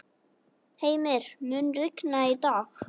Heimir, mun rigna í dag?